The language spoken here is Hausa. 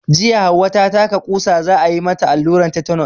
Jiya Hauwa ta taka ƙusa, za a yi mata alluran tetenos.